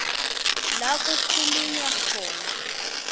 la kukhulunywa khona